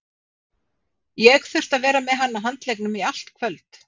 Ég þurfti að vera með hann á handleggnum í allt kvöld.